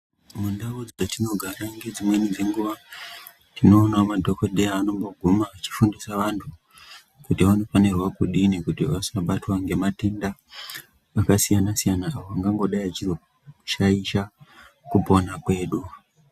Mundau metinogara ngedzimweni dzenguva tinoonawo madhokodheya anomboguma achifundisa antu kuti vanofanirwa kudini kuti vasabatwa ngematenda akasiyana siyana ayo angangodai achizoshaisha kupona kwedu.